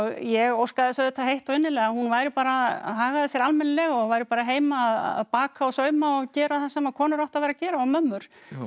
ég óskaði þess auðvitað heitt og innilega að hún væri bara hagaði sér almennilega og væri bara heima að baka og sauma og gera það sem konur áttu að vera að gera og mömmur